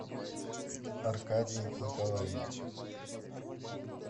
аркадием николаевичем